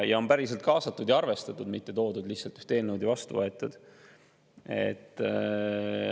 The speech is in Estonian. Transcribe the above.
Ja on päriselt kaasatud ja arvestatud, mitte toodud lihtsalt eelnõu siia ja vastu võetud.